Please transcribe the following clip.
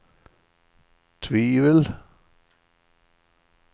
tvivel